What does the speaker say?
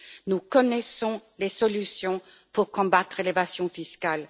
Nous connaissons les solutions pour combattre l'évasion fiscale.